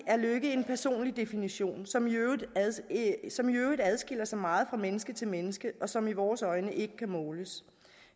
er lykke en personlig definition som i som i øvrigt adskiller sig meget fra menneske til menneske og som i vores øjne ikke kan måles